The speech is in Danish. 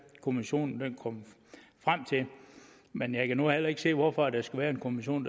kommissionen kommer frem til men jeg kan nu heller ikke se hvorfor der skal være en kommission